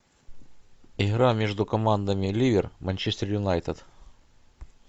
игра между командами ливер манчестер юнайтед